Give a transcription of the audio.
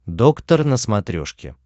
доктор на смотрешке